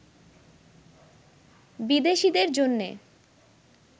বিদেশিদের জন্যে